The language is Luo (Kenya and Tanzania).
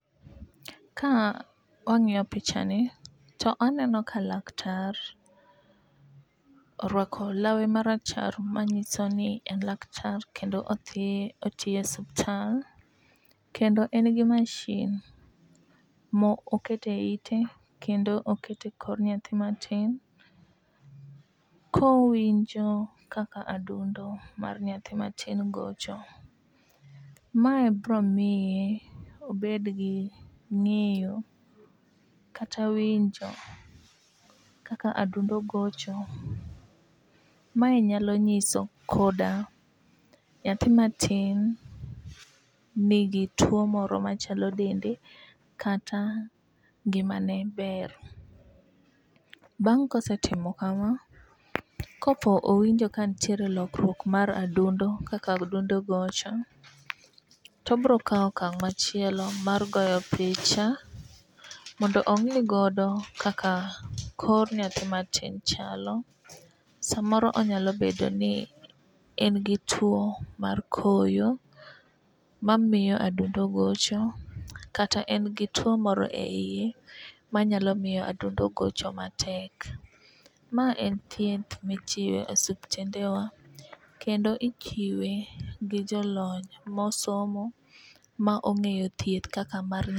Ka wang'iyo picha ni to aneno ka laktar orwako lawe marachar manyiso ni en laktar kendo odhi otiye osipital. Kendo en gi mashin mo okete ite kendo okete koro nyathi matin , kowinjo kaka adundo mar nyathi matin gocho . Mae bro miye obed gi ng'eyo kata winjo kaka adundo gocho mae nyalo nyiso koda nyathi matin nigi tuo moro machando dende kata ngimane ber. Bang' kosetimo kama, kopo owinjo kantiere lokruok mar adundo kaka adundo gocho ,obro kawo okang' machielo mar goyo picha mondo ong'i godo kaka kor nyathi matin chalo samoro onyalo bedo ni en gi tuo mar koyo ma miyo adundo gocho kata en tuo moro e iye manyalo miyo adundo gocho matek. Ma en thieth michiwo e osiptende wa kendo ichiwe gi jolony mosomo ma ong'eyo thieth kaka mar.